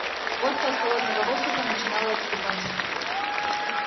водка от холодного воздуха начинала отступать